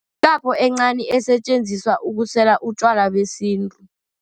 Yikapo encani esetjenziselwa ukusela utjwala besintu.